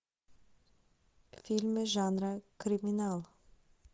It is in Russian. фильмы жанра криминал